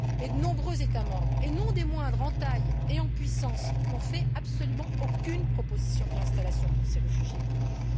Mais de nombreux États membres et non des moindres, en taille et en puissance n'ont fait absolument aucune proposition de réinstallation pour ces réfugiés de Libye.